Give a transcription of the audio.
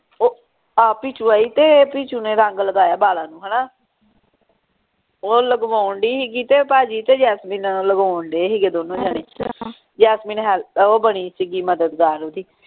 ਉਹ ਆ ਪਿਚੁ ਆਈ ਤੇ ਪਿਚੁ ਨੇ ਰੰਗ ਲਗਾਇਆ ਬਾਲਾਂ ਨੂੰ ਹਣਾ ਉਹ ਲਗਵਾਉਣ ਢਈ ਸੀਗੀ ਤੇ ਭਾਜੀ ਤੇ ਜੈਸਮੀਨ ਲਗਵਾਉਣ ਢਏ ਸੀ ਦੋਨੋ ਜਣੇ ਜੈਸਮੀਨ ਹੇਲ ਉਹ ਬਣੀ ਸੀਗੀ ਮਦਦਗਾਰ ਓਹਦੀ